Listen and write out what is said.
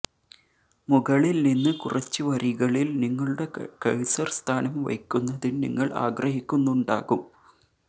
മുകളിൽ നിന്ന് കുറച്ച് വരികളിൽ നിങ്ങളുടെ കഴ്സർ സ്ഥാനം വയ്ക്കുന്നതിന് നിങ്ങൾ ആഗ്രഹിക്കുന്നുണ്ടാകും